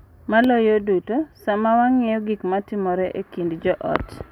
Maloyo duto, sama wang’iyo gik ma timore e kind joot.